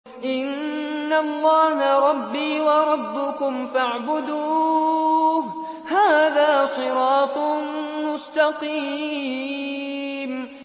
إِنَّ اللَّهَ رَبِّي وَرَبُّكُمْ فَاعْبُدُوهُ ۗ هَٰذَا صِرَاطٌ مُّسْتَقِيمٌ